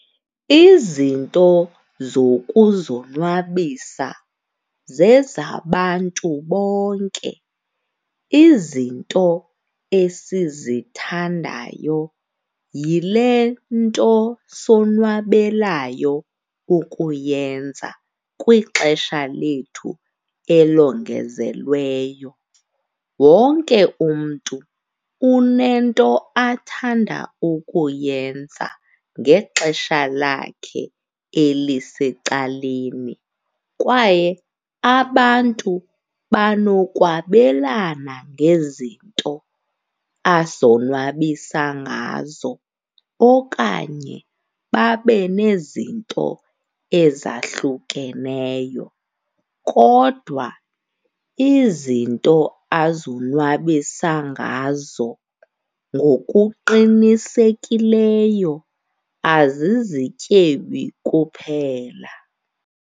Izinto zokuzonwabisa zezabantu bonke. Izinto esizithandayo yile nto sonwabelayo ukuyenza kwixesha lethu elongezelweyo. Wonke umntu unento athanda ukuyenza ngexesha lakhe elisecaleni kwaye abantu banokwabelana ngezinto azonwabisa ngazo okanye babe nezinto ezahlukeneyo, kodwa izinto azonwabisa ngazo ngokuqinisekileyo azizityebi kuphela.